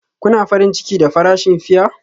Kuna farin ciki da farashin fiya?